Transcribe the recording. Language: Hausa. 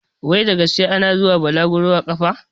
Wai da gaske ana zuwa bulaguru a ƙafa?